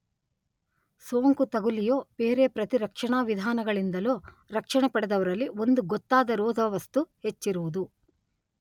ಸೋಂಕು ತಗುಲಿಯೋ ಬೇರೆ ಪ್ರತಿರಕ್ಷಣಾವಿಧಾನಗಳಿಂದಲೋ ರಕ್ಷಣೆ ಪಡೆದವರಲ್ಲಿ ಒಂದು ಗೊತ್ತಾದ ರೋಧವಸ್ತು ಹೆಚ್ಚಿರುವುದು.